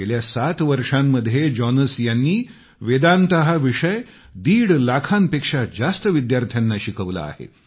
गेल्या सात वर्षांमध्ये जॉनस यांनी वेदांत हा विषय दीड लाखांपेक्षा जास्त विद्यार्थ्यांना शिकवला आहे